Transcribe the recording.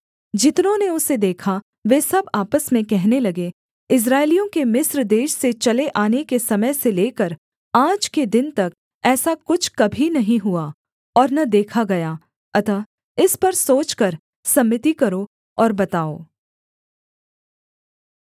जितनों ने उसे देखा वे सब आपस में कहने लगे इस्राएलियों के मिस्र देश से चले आने के समय से लेकर आज के दिन तक ऐसा कुछ कभी नहीं हुआ और न देखा गया अतः इस पर सोचकर सम्मति करो और बताओ